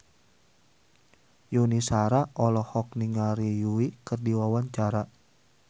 Yuni Shara olohok ningali Yui keur diwawancara